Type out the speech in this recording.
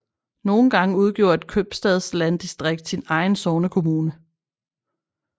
Nogle gange udgjorde et købstadslanddistrikt sin egen sognekommune